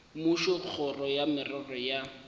mmušo kgoro ya merero ya